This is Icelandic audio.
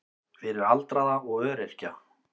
Fyrir aldraða og öryrkja.